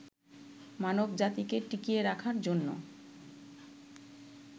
মানবজাতিকে টিকিয়ে রাখার জন্য